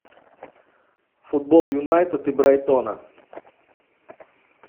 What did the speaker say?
футбол юнайтед и брайтона